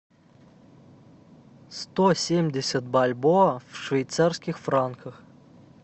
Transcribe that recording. сто семьдесят бальбоа в швейцарских франках